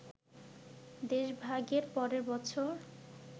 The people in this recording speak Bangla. দেশভাগের পরের বছর